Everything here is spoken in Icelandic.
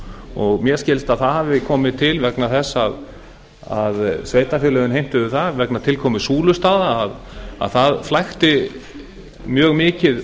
og mér skilst að það hafi komið til vegna þess að sveitarfélögin heimtuðu það vegna tilkomu súlustaða að það flækti mjög mikið